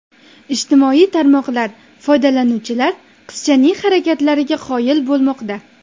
Ijtimoiy tarmoqlar foydalanuvchilar qizchaning harakatlariga qoyil bo‘lmoqda.